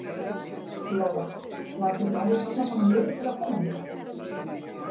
Lóa: Var ekkert mál að safna saman liði til að koma hingað?